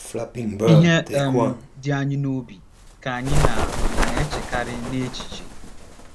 Ihe um di anyị n’obi ka anyị na - na - echekarị n’echiche.